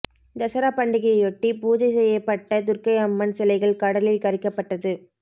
தசரா பண்டிகையொட்டி பூஜை செய்யப்பட்ட துர்க்கை அம்மன் சிலைகள் கடலில் கரைக்கப்பட்டது